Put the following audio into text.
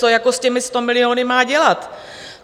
Co jako s těmi 100 miliony má dělat?